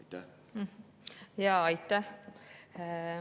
Aitäh!